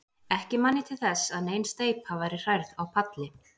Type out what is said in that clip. Ekki man ég til þess, að nein steypa væri hrærð á palli.